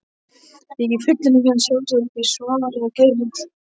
Þykir fullyrðing hans sjálfsagt ekki svaraverð.